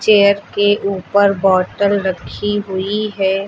Chair के ऊपर bottle रखी हुई है।